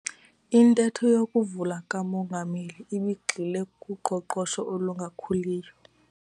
Intetho yokuvula kamongameli ibigxile kuqoqosho olungakhuliyo